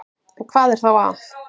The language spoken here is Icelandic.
En hvað er þá að?